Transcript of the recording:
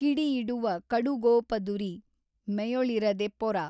ಕಿಡಿಯಿಡುವ ಕಡುಗೋಪದುರಿ ಮೆಯೊಳಿರದೆ ಪೊರ।